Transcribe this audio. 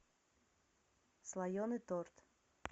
слоеный торт